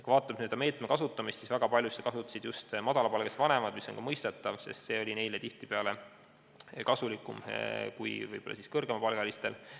Kui vaatame selle meetme kasutamist, siis väga palju kasutasid seda just madalapalgalised vanemad, mis on ka mõistetav, sest neile oli see tihtipeale kasulikum kui kõrgemapalgalistele.